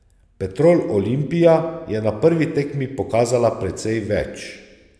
Petrol Olimpija je na prvi tekmi pokazala precej več.